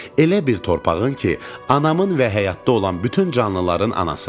Elə bir torpağın ki, anamın və həyatda olan bütün canlıların anasıdır.